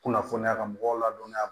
Kunnafoniya ka mɔgɔw ladɔniya